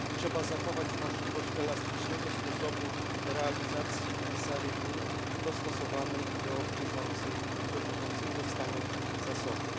Trzeba zachować możliwość elastycznego sposobu realizacji zarybień, dostosowanej do bieżącego stanu zasobów.